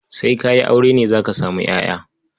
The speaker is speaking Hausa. Sai ka yi aure ne za ka samu ƴaƴa.